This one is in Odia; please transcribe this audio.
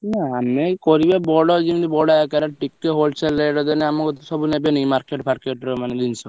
ନା ଆମେ ଏଇ କରିବା ବଡ ଯେମିତି ବଡ ଆକାରରେ ଟିକେ wholesale ଦେନେ ଆମ କତୁରୁ ସବୁ ନେବେନି କି market ଫର୍କେଟ୍ ର ମାନେ ଜିନିଷ,